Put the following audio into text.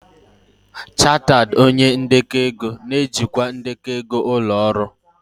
Chartered onye ndekọ ego na-ejikwa ndekọ ego ụlọ ọrụ.